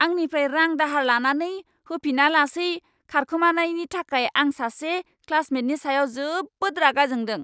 आंनिफ्राय रां दाहार लानानै होफिनालासै खारखोमानायनि थाखाय आं सासे क्लासमेटनि सायाव जोबोद रागा जोंदों!